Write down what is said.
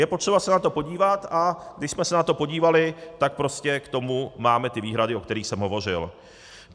Je potřeba se na to podívat, a když jsme se na to podívali, tak prostě k tomu máme ty výhrady, o kterých jsem hovořil.